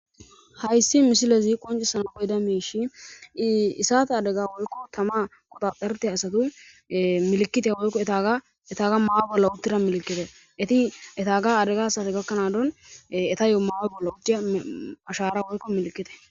Haysi misilezi qoncisanaw koyida miishiisati adega woyko Tama adaga wode gakkidi ashiza ashara milikite mayida. Eti etaga adaga wode gakkidi asahana etayo maya bolla uttiza ashara woyko milikite